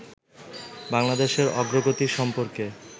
বাংলাদেশের অগ্রগতি সম্পর্কে